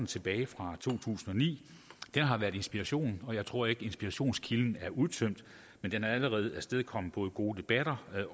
tilbage fra to tusind og ni har været inspiration og jeg tror ikke inspirationskilden er udtømt men den har allerede afstedkommet gode debatter